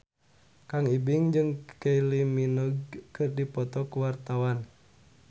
Kang Ibing jeung Kylie Minogue keur dipoto ku wartawan